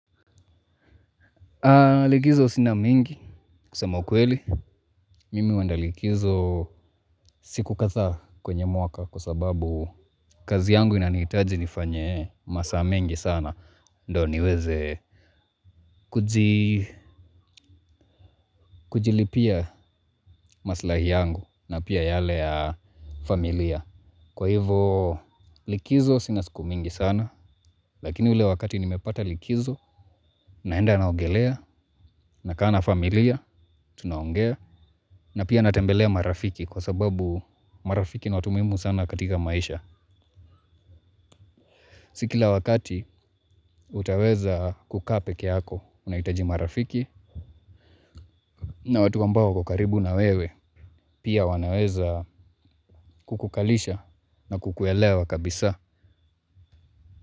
Likizo sina mengi kusema ukweli. Mimi huendlikizo siku kadha kwenye mwaka kwasababu kazi yangu inanihitaji nifanye masaa mengi sana. Ndo niweze kujilipia maslahi yangu na pia yale ya familia. Kwa hivo likizo sina siku mingi sana lakini ule wakati nimepata likizo naenda naogelea nakaa na familia tunaongea. Na pia natembelea marafiki kwasababu marafiki ni watu muhimu sana katika maisha. Si kila wakati utaweza kukaa pekeyako unahitaji marafiki na watu ambao wako karibu na wewe pia wanaweza kukukalisha na kukuelewa kabisa.